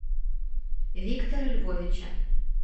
виктора львовича